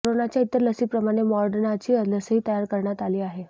कोरोनाच्या इतर लसीप्रमाणे मॉर्डनाची लसही तयार करण्यात आली आहे